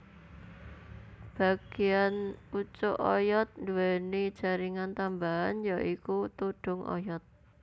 Bagéan pucuk oyod nduwèni jaringan tambahan ya iku tudhung oyod